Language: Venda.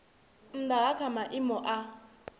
nnda ha kha maimo a